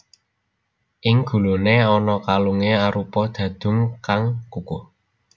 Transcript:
Ing guluné ana kalungé arupa dhadhung kang kukuh